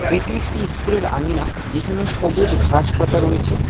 এটি একটি ইস্কুলের আঙিনা যেখানে সবুজ ঘাসপাতা রয়েছে।